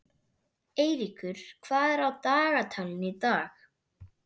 Eyríkur, hvað er á dagatalinu í dag?